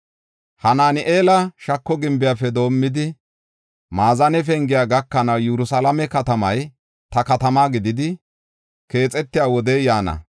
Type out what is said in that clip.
“Hanaani7eela shako Gimbiyafe doomidi, Maazane Pengiya gakanaw Yerusalaame katamay ta katama gididi, keexetiya wodey yaana.